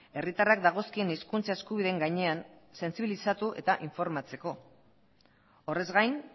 herritarrak dagozkien hizkuntza eskubideen gainean sentsibilizatu eta informatzeko horrez gain